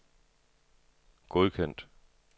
godkendt